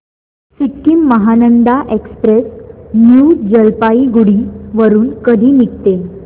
Sikkim Mahananda express new Jalpaiguri वरून कधी निघते